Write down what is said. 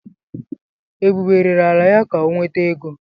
Ebube rere ala ya ka ọ nweta ego.